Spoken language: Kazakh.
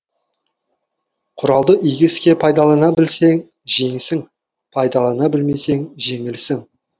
құралды игі іске пайдалана білсең жеңісің пайдалана білмесең жеңілісің